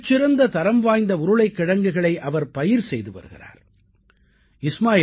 மிகச் சிறந்த தரம் வாய்ந்த உருளைக்கிழங்குகளை அவர் பயிர் செய்து வருகிறார்